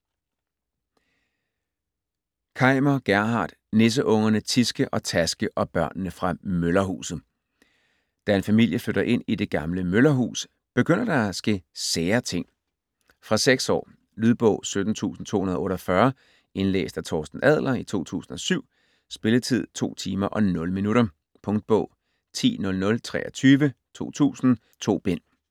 Kaimer, Gerhard: Nisseungerne Tiske og Taske og børnene fra møllerhuset Da en familie flytter ind i det gamle møllerhus, begynder der at ske sære ting. Fra 6 år. Lydbog 17248 Indlæst af Torsten Adler, 2007. Spilletid: 2 timer, 0 minutter. Punktbog 100023 2000.2 bind.